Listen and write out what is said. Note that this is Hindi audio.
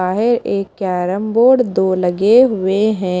एक केरमबोर्ड दो लगे हुए हैं।